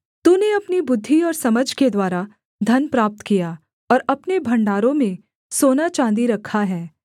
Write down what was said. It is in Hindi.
तूने अपनी बुद्धि और समझ के द्वारा धन प्राप्त किया और अपने भण्डारों में सोनाचाँदी रखा है